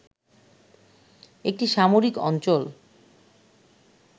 একটি সামরিক অঞ্চল